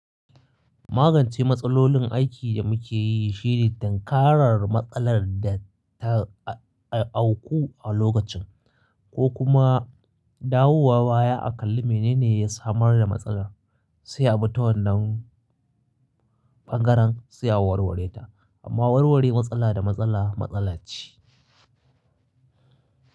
Magance matsalolin aiki da muke yi shine dankarar matsalar da ta auku a lokacin, ko kuma dawowa baya a kalli menene ya samar da matsalar, sai ama ta wannan bangaren, sai a warware ta. Amma warware matsala da matsala, matsala ce.